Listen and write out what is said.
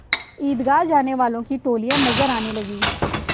ईदगाह जाने वालों की टोलियाँ नजर आने लगीं